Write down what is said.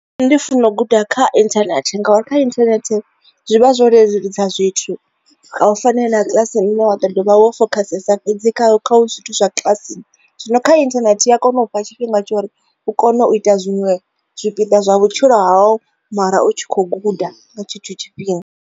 Nṋe ndi funa u guda kha internet ngauri wa kha internet zwi vha zwo leludza zwithu nga u fanela kiḽasi nṋe wa to ḓovha wo fokhasa fhedzi kha kha u zwithu zwa kiḽasini zwino kha internet a kone u fha tshifhinga tshori u kone u ita zwiṅwe zwipiḓa zwa vhutshilo hau mara u tshi kho guda nga tshetsho tshifhinga.